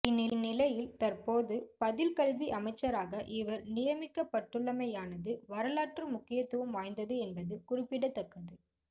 இந்நிலையில் தற்போது பதில் கல்வி அமைச்சராக இவர் நியமிக்கப்பட்டுள்ளமையானது வரலாற்று முக்கியத்துவம் வாய்ந்தது என்பது குறிப்பிடத்தக்கது